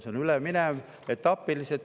See läheb üle etapiliselt.